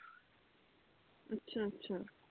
ਅੱਛਾ ਅੱਛਾ।